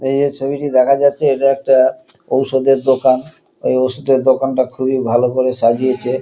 এইযে ছবিটি দেখা যাচ্ছে এটা একটা ঔষধের দোকান। এই ঔষধের দোকানটা খুবই ভালো করে সাজিয়েছে।